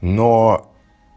но